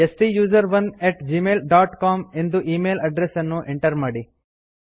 ಸ್ಟುಸೆರೋನ್ at Gmail dot C O M ಎಂದು email address ಅನ್ನು enter ಮಾಡಿ